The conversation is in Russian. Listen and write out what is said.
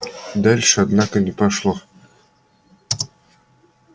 дальше однако не пошло